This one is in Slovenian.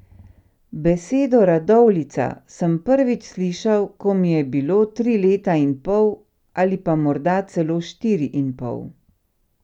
Besedo radovljica sem prvič slišal, ko mi je bilo tri leta in pol ali pa morda celo štiri in pol.